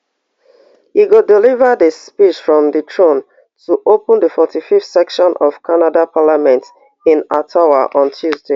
e go deliver di speech from di throne to open di forty-fiveth session of canada parliament in ottawa on tuesday